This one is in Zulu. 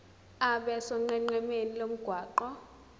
abe sonqenqemeni lomgwaqo